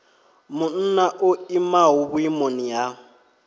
munna o imaho vhuimoni ha